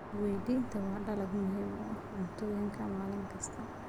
Weydiinta waa dalag muhiim ah oo cuntooyinka maalin kasta.